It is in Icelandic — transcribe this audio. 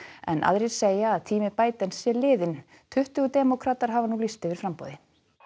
en aðrir segja að tími sé liðinn tuttugu demókratar hafa nú lýst yfir framboði